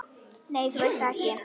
Nei, þú veist það ekki.